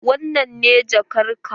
Wannan ne jakar ka?